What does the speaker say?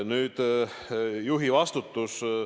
Nüüd, juhi vastutus.